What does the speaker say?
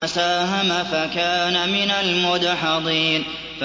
فَسَاهَمَ فَكَانَ مِنَ الْمُدْحَضِينَ